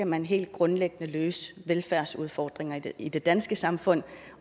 man helt grundlæggende skal løse velfærdsudfordringer i det danske samfund